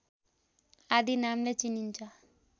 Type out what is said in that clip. आदि नामले चिनिन्छ